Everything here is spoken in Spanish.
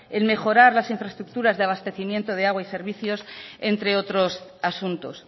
el mejorar las infraestructuras de abastecimiento de agua y servicios entre otros asuntos